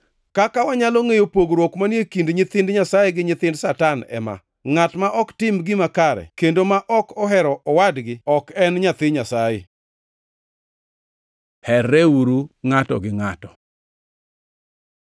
Kaka wanyalo ngʼeyo pogruok manie kind nyithind Nyasaye gi nyithind Satan ema: Ngʼat ma ok tim gima kare kendo ma ok ohero owadgi ok en nyathi Nyasaye. Herreuru ngʼato gi ngʼato